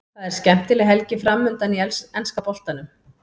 Það er skemmtileg helgi framundan í enska boltanum.